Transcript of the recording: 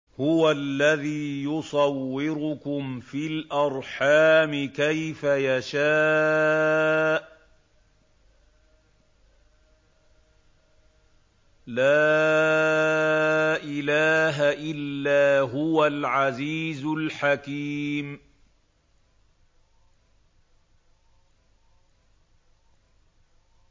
هُوَ الَّذِي يُصَوِّرُكُمْ فِي الْأَرْحَامِ كَيْفَ يَشَاءُ ۚ لَا إِلَٰهَ إِلَّا هُوَ الْعَزِيزُ الْحَكِيمُ